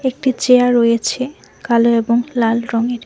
একটি চেয়ার রয়েছে কালো এবং লাল রঙের।